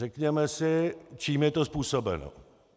Řekněme si, čím je to způsobeno.